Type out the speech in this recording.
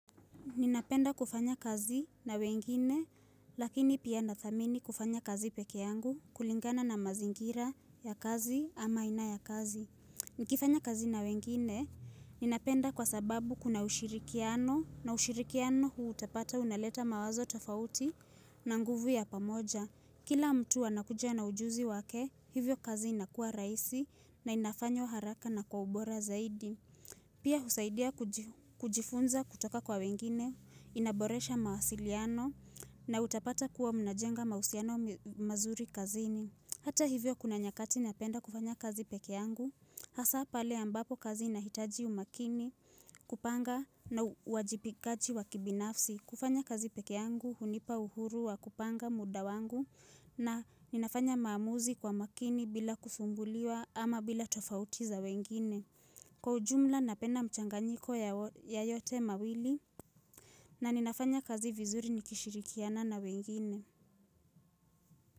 Ninapenda kufanya kazi na wengine, lakini pia nathamini kufanya kazi peke yangu kulingana na mazingira ya kazi ama aina ya kazi. Nikifanya kazi na wengine, ninapenda kwa sababu kuna ushirikiano na ushirikiano hua utapata unaleta mawazo tofauti na nguvu ya pamoja. Kila mtu anakuja na ujuzi wake, hivyo kazi inakua rahisi na inafanywa haraka na kwa ubora zaidi. Pia husaidia kujifunza kutoka kwa wengine, inaboresha mawasiliano na utapata kuwa mnajenga mahusiano mazuri kazini. Hata hivyo kuna nyakati napenda kufanya kazi peke yangu, hasa pale ambapo kazi inahitaji umakini kupanga na uwajibikaji wa kibinafsi. Kufanya kazi peke yangu, hunipa uhuru wa kupanga muda wangu na ninafanya maamuzi kwa makini bila kufumbuliwa ama bila tofauti za wengine. Kwa ujumla napenda mchanganyiko ya yote mawili na ninafanya kazi vizuri nikishirikiana na wengine.